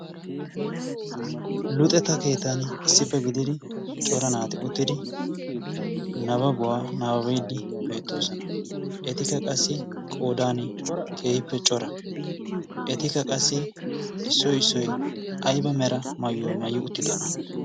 luxeta keetan issippe gididi cora naati uttidi nababuwaa naababaedi beettoosona etikka qassi qodan keehippe cora etikka qassi issoi issoi aiba mera maayuwaa mayyi uttidona?